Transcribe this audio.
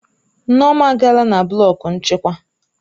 Nneoma agaala na blọku nchịkwa